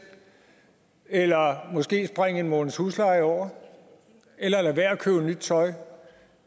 eller måske springe en måneds husleje over eller lade være at købe nyt tøj